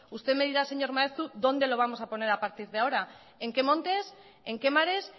usted me dirá señor maeztu dónde lo vamos a poner a partir de ahora en qué montes en qué mares